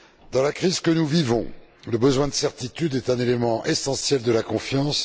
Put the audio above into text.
Dans la crise que nous vivons, le besoin de certitude est un élément essentiel de la confiance.